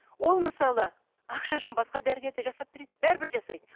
ол мысалы ақша үшін басқа дәрігер де жасап береді бәрібір жасайды